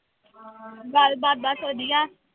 ਗੱਲਬਾਤ ਬਸ ਵਧੀਆ।